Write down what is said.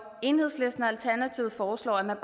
enhedslisten og alternativet foreslår at man